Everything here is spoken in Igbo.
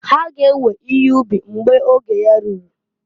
Ha g'ewe ihe ubi mgbo oge ya ruru.